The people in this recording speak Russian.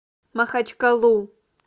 махачкалу